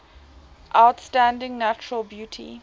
outstanding natural beauty